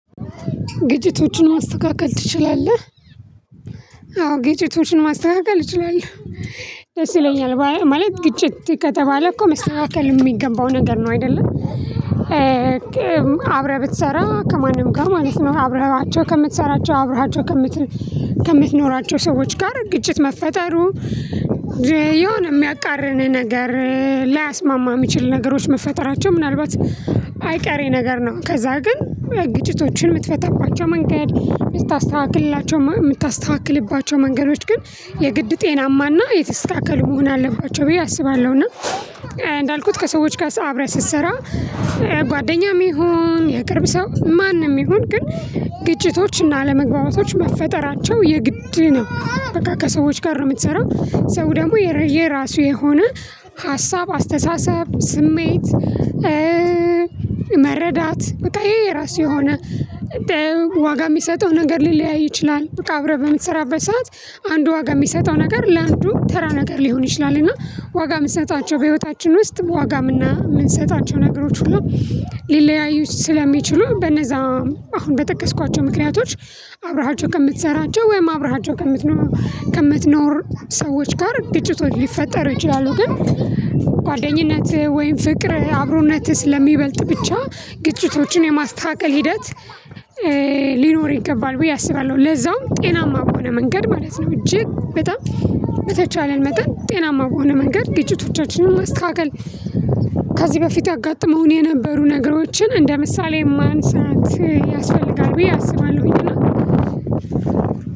ግጭቶችን ማስተካከል ትችላለህ? አዎ ግጭቶችን ማስተካከል እችላለሁ። ደስ ይለኛል ማለት ግጭት ከተባለ እኮ መስተካከል የሚገባው ነገር ነው አይደለ። አብረህ ብትሰራ ከማንም ጋር ማለት ነው አብረሃቸው ከምትሰራቸው አብረሃቸው ከምትኖራቸው ሰዎች ጋር ግጭት መፈጠሩ የሆነ የሚያቃርን ነገር ላያስማማ የሚችል ነገሮች መፈጠራቸው ምናልባት አይቀሬ ነገር ነው። ከዛ ግን ግጭቶችን የምትፈታባቸው መንገድ የምታስተዋክልላቸው የምታስተዋክልባቸው መንገዶች ግን የግድ ጤናማና የተስተካከሉ መሆን አለባቸው ብዬ አስባለሁ። እና እንዳልኩት ከሰዎች ጋር አብረህ ስትሰራ ጓደኛም ይሁን የቅርብ ሰው ማንም ይሁን ግን ግጭቶች እና አለመግባባቶች መፈጠራቸው የግድ ነው። በቃ ከሰዎች ጋር ነው የምትሰራው ሰው ደግሞ የረየ ራሱ የሆነ ሀሳብ አስተሳሰብ ስሜት። መረዳት በቃ የየራሱ የሆነ ዋጋ የሚሰጠው ነገር ሊለያይ ይችላል። በቃ አብረህ በምትሰራበት ሰዓት አንዱ ዋጋ የሚሰጠው ነገር ለአንዱ ተራ ነገር ሊሆን ይችላል። እና ዋጋ የምንሰጣቸው በህይወታችን ውስጥ ዋጋም እና የምንሰጣቸው ነገሮች ሁሉ ሊለያዩት ስለሚችሉ በነዛ አሁን በጠቀስኳቸው ምክንያቶች አብረሃቸው ከምትሰራቸው ወይም አብረሃቸው ከምትኖር ከምትኖር ሰዎች ጋር ግጭቶች ሊፈጠር ይችላሉ። ግን ጓደኝነትህ ወይም ፍቅር አብሮነት ስለሚበልጥ ብቻ ግጭቶችን የማስተካከል ሂደት ሊኖር ከባድ ብዬ አስባለሁ። ለዛውም ጤናማ በሆነ መንገድ ማለት ነው። እጅግ በጣም በተቻለን መጠን ጤናማ በሆነ መንገድ ግጭቶቻችንን ማስተካከል። ከዚህ በፊት ያጋጠመውን የነበሩ ነገሮችን እንደ ምሳሌ ማንሳት ያስፈልጋል ብዬ አስባለሁኝ።